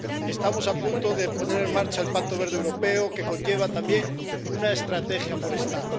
Estamos a punto de poner en marcha el Pacto Verde Europeo, que conlleva también una estrategia forestal.